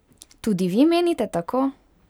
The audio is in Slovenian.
Tudi vi menite tako?